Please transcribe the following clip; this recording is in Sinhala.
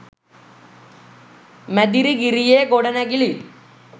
මැදිරිගිරියේ ගොඩනැගිලි